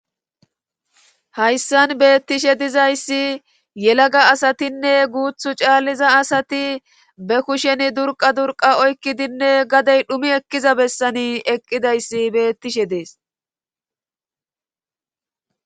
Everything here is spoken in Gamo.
hayssan beettishe dizayssi yelaga asatinne guuthu caalliza asati be kusheni durqa durqa oykkidinne gadey dhumi ekkiza bessani eqqidayssi beettishe dees